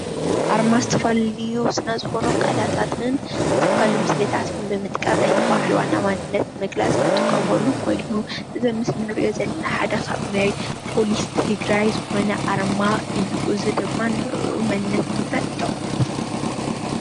ኣርማ ዝተፈላለዩ ስለዝኮኑ ቃለታትን ዝተፈላለዩ ምስልታትን ብምጥቃም ናይቲ በዓል ዋና መምነት ንምግላፅ ዝጥቀምሉ ኮይኑ እዚ ኣብ ምስሊ እንሪኦ ዘለና ሓደ ካብ ናይ ፖሊስ ትገራይ ዝኮነ ኣርማ እዩ፡፡ እዚ ድማ ንዕኡ መንነት ንምግላፅ ይጠቅሙ፡፡